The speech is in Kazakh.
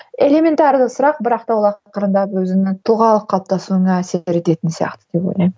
элементарлы сұрақ бірақ та ол ақырындап өзінің тұлғалық қалыптасуыңа әсер ететін сияқты деп ойлаймын